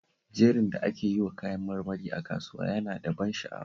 Jerin da ake yiwa kayan marmari a kasuwa yana da ban sha'awa